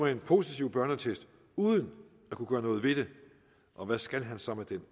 en positiv børneattest uden at kunne gøre noget ved det og hvad skal han så med den